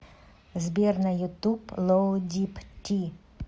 сбер на ютуб лоу дип ти